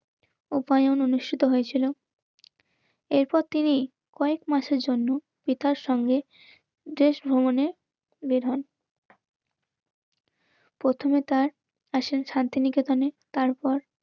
রূপায়ণ অনুষ্ঠিত হয়েছিল. এরপর তিনি কয়েক মাসের জন্য পিতার সঙ্গে দেশ ভ্রমণে বেধন. প্রথমে তাঁর আসেন শান্তিনিকেতনে. তারপর